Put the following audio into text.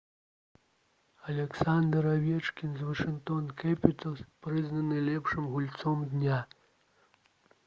аляксандр авечкін з «вашынгтон кэпіталз» прызнаны лепшым гульцом дня